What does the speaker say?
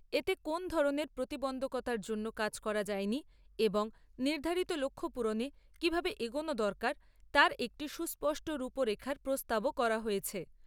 এতে কোনও ধরণের প্রতিবন্ধকতার জন্য কাজ করা যায়নি এবং নির্ধারিত লক্ষ্যপূরণে কিভাবে এগোনো দরকার, তার একটি সুস্পষ্ট রূপরেখার প্রস্তাবও করা হয়েছে।